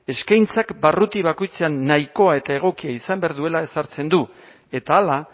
eskaintzak barruti bakoitzean nahikoa eta egokia izan behar duela ezartzen du eta hala